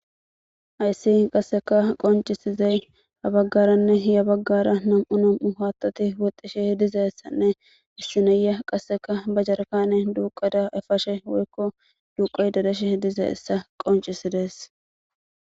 Haysi qassekka qonc'isizay ha bagaranne ya bagara nam'u nam'u haththathi woththishe dizzayissanne na'aya kasekka ba jerikkannen dukkadda effashe woyikko duqayidda dizzayisa qonc'isizayisa.